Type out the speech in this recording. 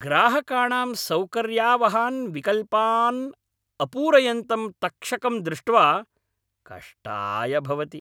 ग्राहकाणां सौकर्यावहान् विकल्पान् अपूरयन्तं तक्षकम् दृष्ट्वा कष्टाय भवति।